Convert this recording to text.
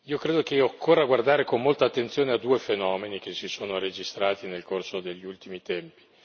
Credo che occorra guardare con molta attenzione a due fenomeni che si sono registrati nel corso degli ultimi tempi.